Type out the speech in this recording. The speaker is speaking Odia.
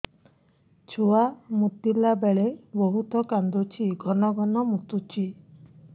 ଛୁଆ ମୁତିଲା ବେଳେ ବହୁତ କାନ୍ଦୁଛି ଘନ ଘନ ମୁତୁଛି